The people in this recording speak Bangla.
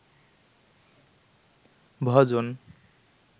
ভজন